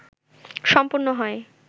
সম্পন্ন হয়